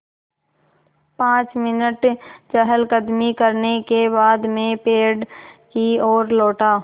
पाँच मिनट चहलकदमी करने के बाद मैं पेड़ की ओर लौटा